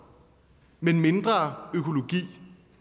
men mindre økologi